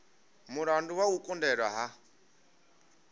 mulandu wa u kundelwa ha